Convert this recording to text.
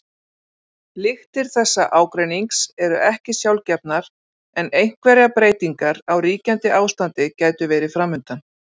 Lyktir þessa ágreinings eru ekki sjálfgefnar en einhverjar breytingar á ríkjandi ástandi gætu verið framundan.